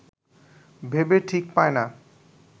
ভেবে ঠিক পায় না